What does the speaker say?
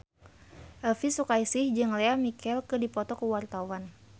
Elvy Sukaesih jeung Lea Michele keur dipoto ku wartawan